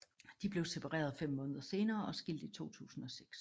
De blev separeret fem måneder senere og skilt i 2006